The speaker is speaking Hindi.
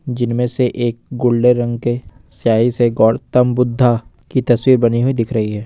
जिनमें से एक गोल्डन रंग के स्याही से गौतम बुद्धा की तस्वीर बनी हुई दिख रही है।